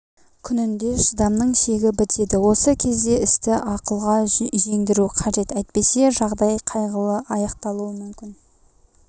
күнінде шыдамның шегі бітеді осы кезде істі ақылға жеңдіру қажет әйтпесе жағдай қайғылы аяқталуы мүмкін